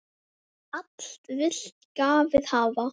Allt vill lagið hafa.